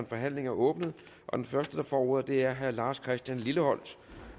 forhandlingen er åbnet den første der får ordet er herre lars christian lilleholt